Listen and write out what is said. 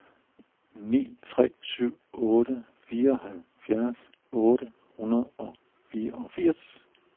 ni tre syv otte fireoghalvfjerds otte hundrede og fireogfirs